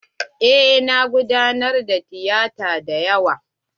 Eh na gudanar da tiyata dayawa.